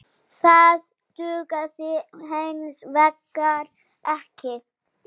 Það dugði hins vegar ekki.